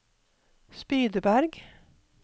Spydeberg